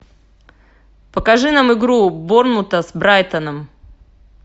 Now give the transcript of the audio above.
покажи нам игру борнмута с брайтоном